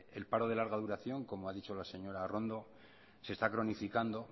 el paro de larga duración como ha dicho la señora arrondo se está cronificando